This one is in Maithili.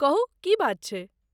कहू की बात छै?